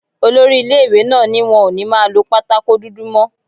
Olori ilé-ìwé náà ní wọn ò ní máa lọ pátákò dúdú mọ́